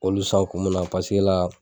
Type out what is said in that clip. Olu san kun min na paseke la